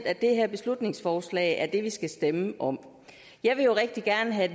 at det her beslutningsforslag er det vi skal stemme om jeg vil jo rigtig gerne have